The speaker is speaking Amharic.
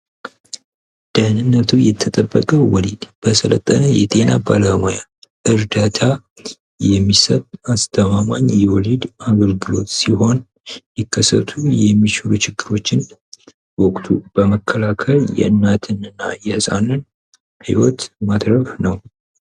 ደህንነቱ የተጠበቀ ወሊድድ በሰለጠነ የጤና ባለሙያ የሚሰጥ አስተማማኝ የወሊድ የድጋፍ አገልግሎት ሲሆን ለሚከሰቱ የሚችሉ ችግሮችን በወቅቱ በመከላከል የእናት እና የህፃንን ህይወት ማትረፍ ነው።